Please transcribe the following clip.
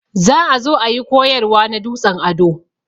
Za ã zo ã yi koyarwa na dutsen ado.